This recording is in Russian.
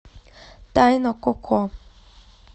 тайна коко